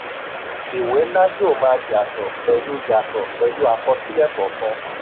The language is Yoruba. ìwé ńlá yóò máa yàtọ̀ pẹ̀lú yàtọ̀ pẹ̀lú àkọsílẹ̀ kọọkan.